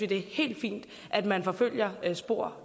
det er helt fint at man følger spor